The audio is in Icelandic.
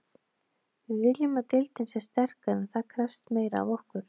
Við viljum að deildin sé sterkari en það krefst meira af okkur.